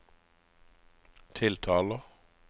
tiltaler